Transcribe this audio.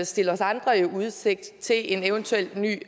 stille os andre i udsigt til en eventuel ny